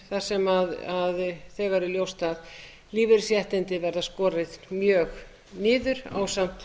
þar sem þegar er ljóst að lífeyrisréttindi verða skorin mjög niður ásamt